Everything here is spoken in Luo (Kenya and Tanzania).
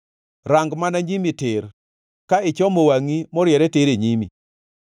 Rang mana nyimi tir, ka ichomo wangʼi moriere tir e nyimi.